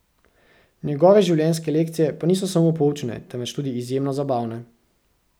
Njegove življenjske lekcije pa niso samo poučne, temveč tudi izjemno zabavne.